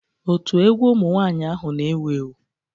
Otu egwu ụmụ nwanyị ahụ n'ewu ewu